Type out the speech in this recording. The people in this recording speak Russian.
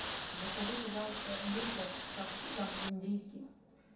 закажи пожалуйста вискас со вкусом индейки